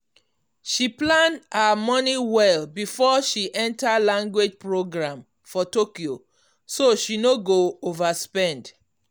she plan her money well before she enter language program for tokyo so she no go overspend.